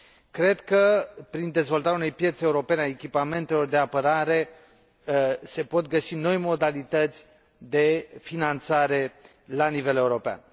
Cred că, prin dezvoltarea unei piețe europene a echipamentelor de apărare, se pot găsi noi modalități de finanțare la nivel european.